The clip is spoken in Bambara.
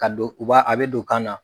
Ka don u b'a a bɛ don u kan na.